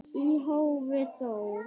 Í hófi þó.